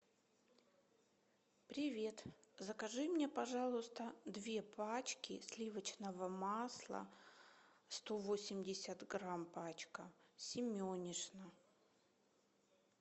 привет закажи мне пожалуйста две пачки сливочного масла сто восемьдесят грамм пачка семенишна